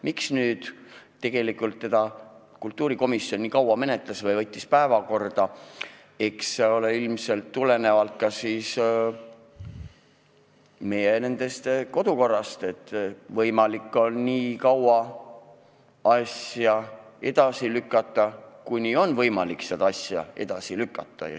Miks kultuurikomisjon seda nii kaua menetles või päevakorda võttis, eks see tuleneb ilmselt ka meie kodukorrast, mille järgi saab asju edasi lükata nii kaua kuni veel võimalik.